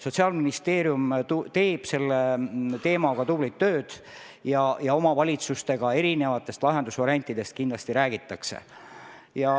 Sotsiaalministeerium teeb selle teemaga tublit tööd ja kindlasti omavalitsustega lahendusvariantidest räägitakse.